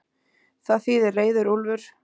Það þýðir reiður úlfur.